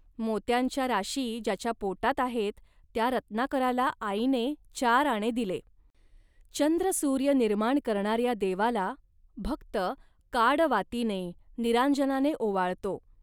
मोत्यांच्या राशी ज्याच्या पोटात आहेत त्या रत्नाकराला आईने चार आणे दिले. चंद्रसूर्य निर्माण करणाऱ्या देवाला भक्त काडवातीने, निरांजनाने ओवाळतो